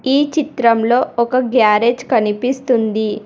ఈ చిత్రంలో ఒక గ్యారేజ్ కనిపిస్తుంది.